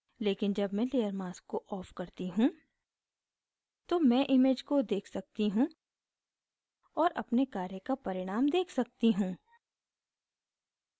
लेकिन जब मैं layer mask को of करती हूँ तो मैं image को देख सकती हूँ और अपने कार्य का परिणाम देख सकती हूँ